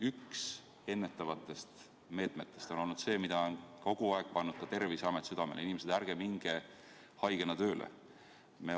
Üks ennetavatest meetmetest on olnud see, mida on kogu aeg pannud ka Terviseamet südamele: inimesed, ärge minge haigena tööle.